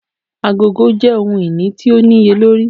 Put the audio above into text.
Agogo jẹ ohun-ini ti o niyelori.